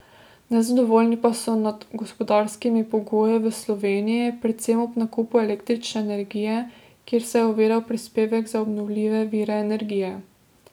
Nezadovoljni pa so nad gospodarskimi pogoji v Sloveniji, predvsem ob nakupu električne energije, kjer se je uvedel prispevek na obnovljive vire energije.